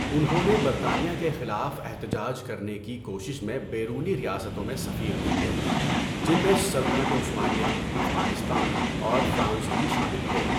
انہوں نے برطانیہ کے خلاف احتجاج کرنے کی کوشش میں بیرونی ریاستوں میں سفیر بھیجے، جن میں سلطنت عثمانیہ، افغانستان اور فرانس بھی شامل تھے۔